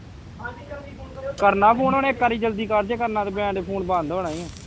ਕਰਨਾ phone ਹੁਣ ਇਕ ਆਰੀ ਜਲਦੀ ਕਰ ਜੇ ਕਰਨਾ phone ਬੰਦ ਹੋ ਜਾਣਾ ਈ ਊ